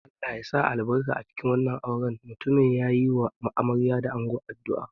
Allah ya sa albarka cikin wannan auren naku, mutumin ya yi wa amarya da ango addu'a.